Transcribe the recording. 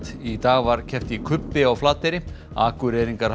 í dag var keppt í kubbi á Flateyri Akureyringar halda